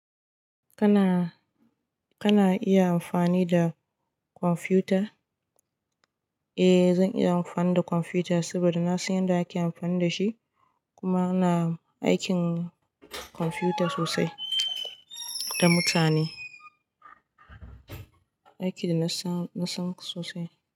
Kana, kana iya amfani da kwamfuta? Eh zan iya amfani da kwamfuta saboda na san yadda ake amfani da shi kuma ina aikin kwamfuta sosai da mutane. Aiki da na san, na san sosai.